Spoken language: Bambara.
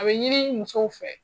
A bɛ ɲini musow fɛ.